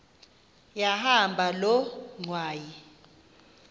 yahamba loo ngxwayi